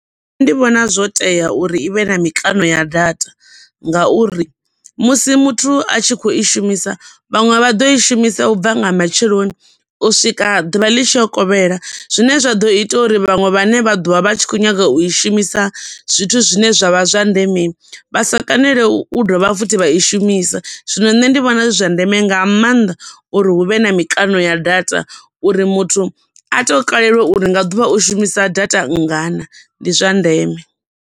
Nṋe ndi vhona zwo tea uri ivhe na mikano ya data, ngauri musi muthu a tshi kho i shumisa vhaṅwe vha ḓo i shumisa u bva nga matsheloni u swika ḓuvha ḽi tshi yo kovhela zwine zwa ḓo ita uri vhaṅwe vhane vha ḓovha vha tshi kho nyaga u i shumisa zwithu zwine zwavha zwa ndeme vha sa i kone u dovha futhi vha i shumisa zwino nṋe ndi vhona zwi zwa ndeme nga mannḓa uri huvhe na mikano ya data uri muthu a to kalelwa uri nga ḓuvha u shumisa data nngana ndi zwa ndeme.